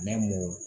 Ne m'o